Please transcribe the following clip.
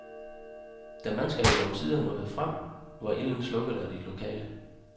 Da mandskabet omsider nåede frem, var ilden slukket af de lokale.